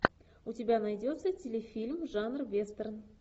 у тебя найдется телефильм жанра вестерн